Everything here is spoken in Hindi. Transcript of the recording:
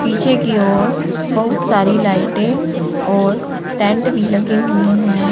पीछे की ओर बहुत सारी लाइटें और टेंट भी लगे हुए हैं।